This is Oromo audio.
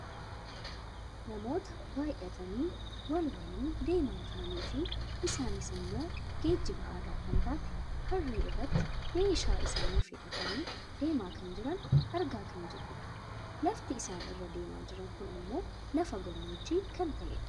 namoota baayyatanii wal waliin deemaa jiraniifi isaanis ammoo geejjiba aadaa kan taate harree irratti meeshaa isaanii fe'atanii deemaa kan jiran argaa kan jirrudha. lafti isaan irra deemaa jiran kun ammoo lafa gammoojjii kan ta'edha.